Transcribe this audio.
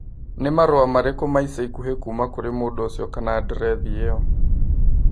Nĩ marũa marĩkũ ma ica ikuhĩ kuuma kũrĩ mũndũ ũcio kana andirethi ĩo